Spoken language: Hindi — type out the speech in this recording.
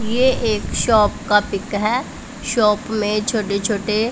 ये एक शॉप का पिक है शॉप में छोटे छोटे--